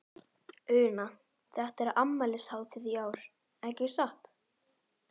Una, þetta er afmælishátíð í ár, ekki satt?